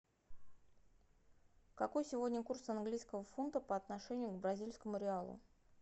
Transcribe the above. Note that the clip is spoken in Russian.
какой сегодня курс английского фунта по отношению к бразильскому реалу